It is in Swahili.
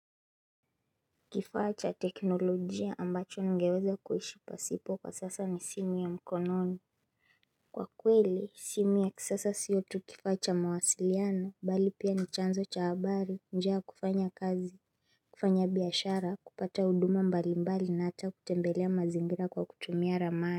Kifaa cha teknolojia ambacho ningeweza kuhishi pasipo kwa sasa ni simi ya mkononi Kwa kweli simi ya kisasa siyo tu kifacha mawasiliano bali pia ni chanzo cha habari njia kufanya kazi kufanya biashara kupata uduma mbalimbali na hata kutembelea mazingira kwa kutumia ramani.